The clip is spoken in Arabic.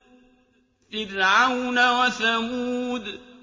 فِرْعَوْنَ وَثَمُودَ